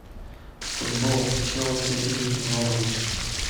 футбол челси и норвич